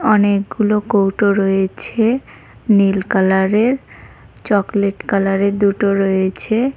অনেকগুলো কৌটো রয়েছে নীল কালারের চকলেট কালারের দুটো রয়েছে।